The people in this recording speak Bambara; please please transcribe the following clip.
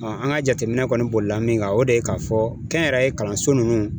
an ka jateminɛ kɔni bolila min kan, o de ye k'a fɔ kɛnyɛrɛye kalanso nunnu